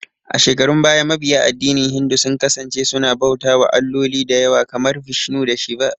A shekarun baya, mabiya addinin Hindu sun kasance suna bauta wa alloli dayawa, kamar Vishnu da Shiva